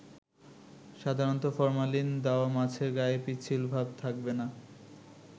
সাধারণত ফরমালিন দেওয়া মাছের গায়ে পিচ্ছিলভাব থাকবে না।